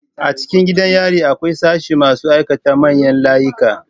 A cikin gidan yari akwai sashin masu aikata manyan layika